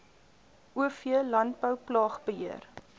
o v landbouplaagbeheer